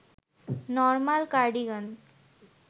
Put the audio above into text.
normal cardigan